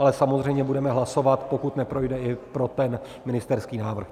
Ale samozřejmě budeme hlasovat, pokud neprojde, i pro ten ministerský návrh.